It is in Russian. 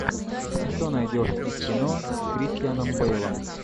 что найдешь из кино с кристианом бейлом